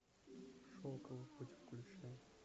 шелковый путь включи